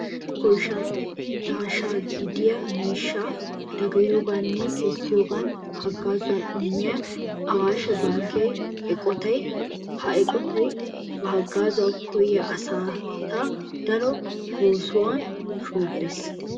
Kinddo koysha daashsha gidiya miishshaa dagayiyo nne kessiyo haggaazuwa immiya awaashe bankke eqotaa. Ha eqotay ba haggaazuwa koyyiya asata daro boossuwan shoobbes.